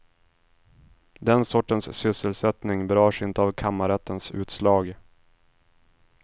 Den sortens sysselsättning berörs inte av kammarrättens utslag.